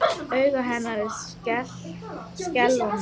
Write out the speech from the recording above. Augu hennar skelfa mig.